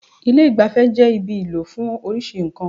Ilé ìgbafẹ́ jẹ́ ibi ìlò fún oríṣi nǹkan.